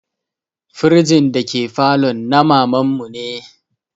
Firjin da ke falon na maman mu ne